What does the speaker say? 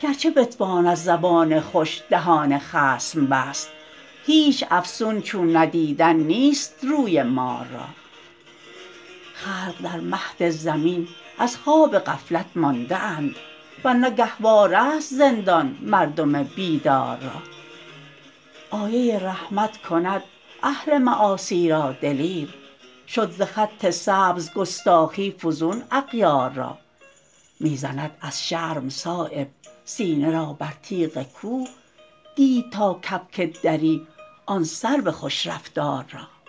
گر چه بتوان از زبان خوش دهان خصم بست هیچ افسون چون ندیدن نیست روی مار را خلق در مهد زمین از خواب غفلت مانده اند ور نه گهواره است زندان مردم بیدار را آیه رحمت کند اهل معاصی را دلیر شد ز خط سبز گستاخی فزون اغیار را می زند از شرم صایب سینه را بر تیغ کوه دید تا کبک دری آن سرو خوش رفتار را